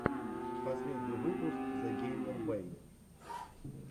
последний выпуск зэгеймербэй